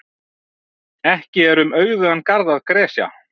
Ekki er um auðugan garð að gresja.